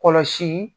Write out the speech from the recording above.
Kɔlɔsi